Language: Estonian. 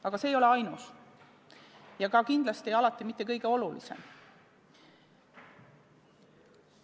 Aga see ei ole ainus ja kindlasti ka mitte kõige olulisem abinõu.